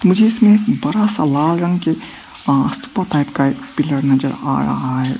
मुझे इसमें बड़ा सा लाल रंग के स्तूप टाइप का पीलर नजर आ रहा है।